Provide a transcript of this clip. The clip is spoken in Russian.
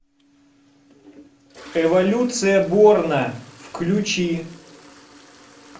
эволюция борна включи